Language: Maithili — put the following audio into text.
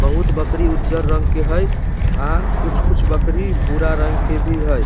बहुत बकरी उज्जर रंग के हेय आ कुछ-कुछ बकरी भूरा रंग के भी हेय।